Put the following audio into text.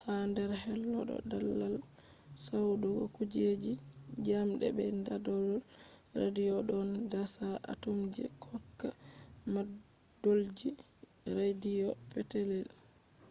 ha nder hollo ɗo daldal dasugo kujeji njamɗe be ɗaɗol radiyo ɗon dasa atomji hokka mandolji radiyo petetel